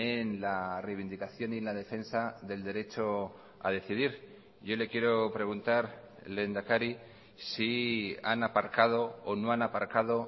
en la reivindicación y la defensa del derecho a decidir yo le quiero preguntar lehendakari si han aparcado o no han aparcado